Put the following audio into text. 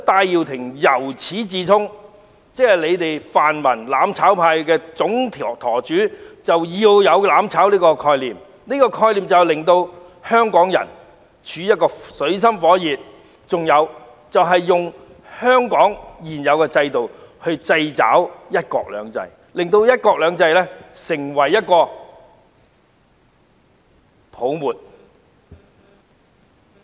因此，泛民"攬炒派"的總舵主戴耀廷由始至終也抱有"攬炒"的概念，要令香港人處於水深火熱之中，並透過香港的現有制度掣肘"一國兩制"，令"一國兩制"成為泡沫。